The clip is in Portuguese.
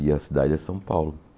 E a cidade é São Paulo.